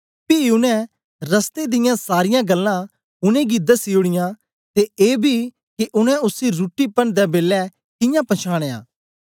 पी उनै रस्ते दियां सारीयां गल्लां उनेंगी दसी ओड़ीयां ते एबी के उनै उसी रुट्टी पन्नदै बेलै कियां पंछानया